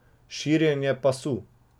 Širjenje pasu.